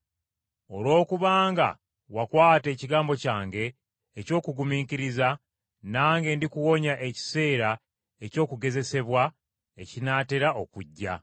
Olwokubanga wakwata ekigambo kyange eky’okugumiikiriza, nange ndikuwonya ekiseera eky’okugezesebwa ekinaatera okujja.